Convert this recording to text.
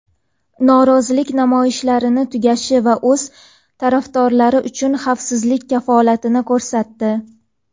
norozilik namoyishlarining tugashi va o‘z tarafdorlari uchun xavfsizlik kafolatini ko‘rsatdi.